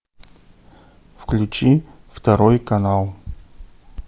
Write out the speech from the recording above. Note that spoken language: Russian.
включи второй канал